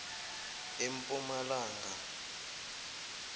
empumalanga